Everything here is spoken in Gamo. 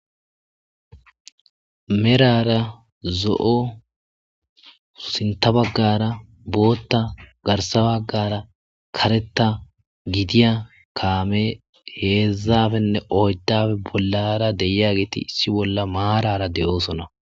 Merara zo7o sinta baggara bootta garsabagara karetta gidiya kaame heedzzafenne oyddafe bollara deia geeti issi bolla maarara de'oosona.